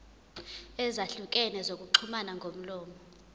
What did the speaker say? ezahlukene zokuxhumana ngomlomo